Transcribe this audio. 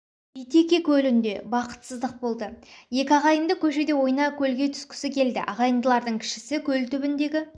битеке көлінде бақытсыздық болды екі ағайынды көшеде ойна көлге түсткісі келді ағайындылардың кішісі көл түбіндегі